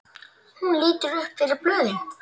Hún lítur upp fyrir blöðin.